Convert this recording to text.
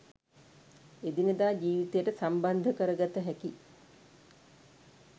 එදිනෙදා ජීවිතයට සම්බන්ධ කරගත හැකි